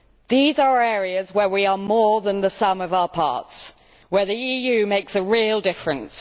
These are areas where we are more than the sum of our parts, where the EU makes a real difference.